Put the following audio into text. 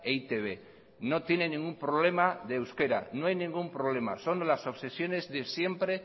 e i te be no tiene ningún problema de euskara no hay ningún problema son las obsesiones de siempre